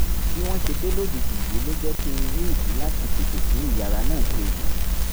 bí wọ́n ṣe dé lójijì yìí ló jẹ́ kí n rí ìdí láti tètè tún ìyàrá náà ṣe